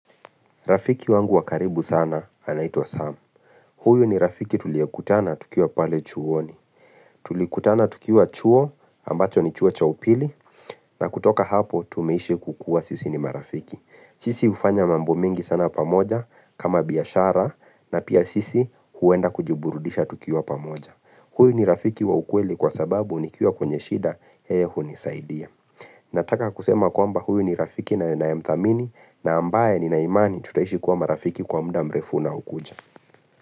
Rafiki wangu wa karibu sana anaitwa Sam. Huyu ni rafiki tuliyokutana tukiwa pale chuoni. Tulikutana tukiwa chuo ambacho ni chuo cha upili na kutoka hapo tumeishi kukua sisi ni marafiki. Sisi hufanya mambo mengi sana pamoja kama biashara na pia sisi huenda kujiburudisha tukiwa pamoja. Huyu ni rafiki wa ukweli kwa sababu nikiwa kwenye shida yeye hunisaidia. Nataka kusema kwamba huyu ni rafiki ninaemthamini na ambaye nina imani tutaishi kuwa marafiki kwa muda mrefu unaokuja.